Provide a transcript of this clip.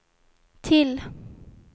till